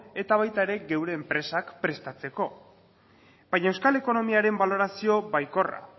eta baita gure enpresak prestatzeko ere baina euskal ekonomiaren balorazio baikorra